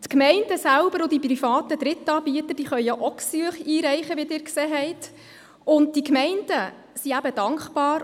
Die Gemeinden selber und die privaten Drittanbieter können ja auch Gesuche einreichen, wie Sie gesehen haben.